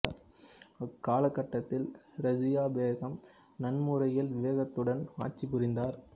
அக்கால கட்டத்தில் ரஸியா பேகம் நன்முறையில் விவேகத்துடனும் ஆட்சிப் புரிந்தார்